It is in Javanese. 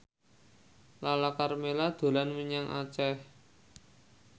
Lala Karmela dolan menyang Aceh